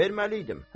Verməli idim.